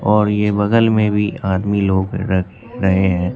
और ये बगल में भी आदमी लोग र रहे हैं।